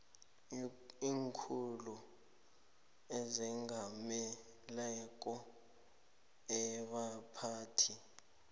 iinkhulu ezengameleko abaphathi